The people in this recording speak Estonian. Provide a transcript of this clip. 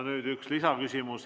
Nüüd üks lisaküsimus.